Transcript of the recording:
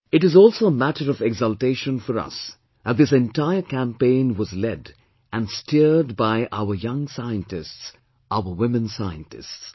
It is also a matter of exultation for us that this entire campaign was led and steered by our young scientists, our women scientists